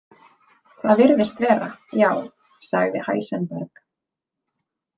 Það virðist vera, já, sagði Heisenberg.